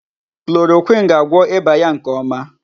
Chloroquine ga-agwọ ịba ya nke ọma.